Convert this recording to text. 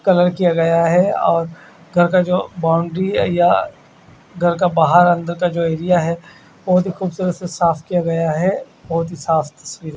colour किया गया है और घर का जो बाउंड्री है या गहर का बहार अन्दर का जो एरिया बोहोत ही खुबसूरत से साफ़ किया गया है बोहोत ही साफ़ सफ--